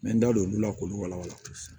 N bɛ n da don olu la k'olu walawala